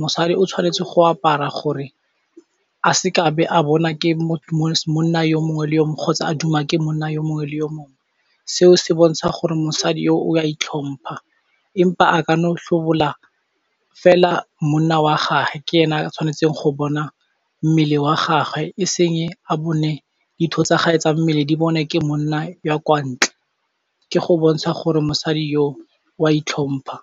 Mosadi o tshwanetse go apara gore a seke a be a bona ke monna yo mongwe le yo mongwe kgotsa a duma ke monna yo mongwe le yo mongwe. Seo se bontsha gore mosadi yo o a itlhompha empa a ka no tlhobola fela monna wa gae ke ena a tshwanetseng go bona mmele wa gagwe e seng a bone ditho tsa gae tsa mmele di bone ke monna yo kwa ntle, ke go bontsha gore mosadi yo o a itlhompha.